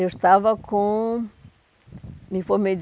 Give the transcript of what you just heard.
Eu estava com... me formei,